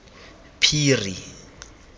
phiri